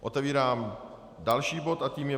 Otevírám další bod a tím je